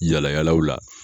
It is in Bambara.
Yaala yaalaw la.